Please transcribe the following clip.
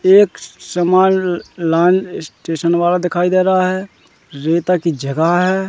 एक स समान लान स्टेशन वाला दिखाई दे रहा है रेता की जगह है।